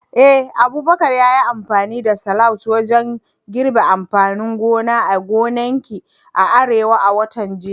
Eh, Abubakar ya yi amfani da slauje wajen girbin amfanin gona a gonakin Arewa a watan jiya.